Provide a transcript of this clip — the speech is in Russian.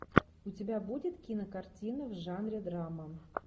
у тебя будет кинокартина в жанре драма